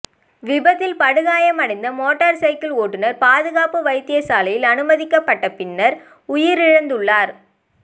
விபத்தில் படுகாயமடைந்த motor cycle ஓட்டுனர் பாதுக்க வைத்தியசாலையில் அனுமதிக்கப்பட்ட பின்னர் உயிரிழந்துள்ளார்